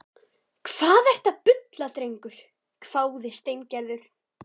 Hvað ertu að bulla drengur? hváði Steingerður.